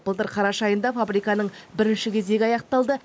былтыр қараша айында фабриканың бірінші кезегі аяқталды